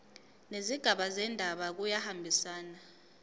nezigaba zendaba kuyahambisana